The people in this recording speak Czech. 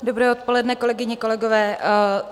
Dobré odpoledne, kolegyně, kolegové.